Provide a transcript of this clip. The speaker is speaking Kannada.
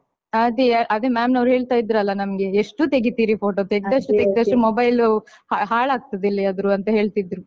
ಅದೇ ಅದೇ ma'am ನವರು ಹೇಳ್ತಿದ್ರಲ್ಲ ನಮ್ಗೆ ಎಷ್ಟು ತೆಗಿತೀರಿ photo ತೆಗೆದಷ್ಟು ತೆಗೆದಷ್ಟು mobile ಹಾಳಾಗುತ್ತದೆ ಎಲ್ಲಿಯಾದ್ರೂ ಅಂತ ಹೇಳ್ತಿದ್ರು.